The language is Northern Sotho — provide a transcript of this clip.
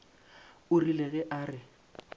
o rile ge a re